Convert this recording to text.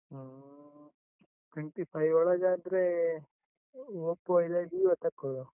ಹ್ಮ್, twenty five ಒಳಗಾದ್ರೆ Oppo ಇಲ್ಲಾದ್ರೆ Vivo ತಗೊಳ್ವಾ.